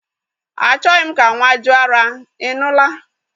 Achoghi m ka nwa jụ ara, I nụla!